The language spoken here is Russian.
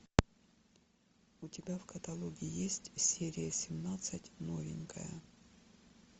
у тебя в каталоге есть серия семнадцать новенькая